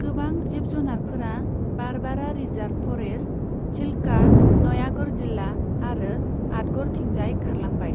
गोबां जिब जुनारफोरा बारबारा रिजार्भ फरेस्ट, चिल्का, नयागढ़ जिल्ला आरो आठगड़थिंजाय खारलांबाय।